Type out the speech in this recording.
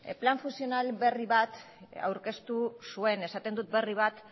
plan funtzional berri bat aurkeztu zuen esaten dut berri bat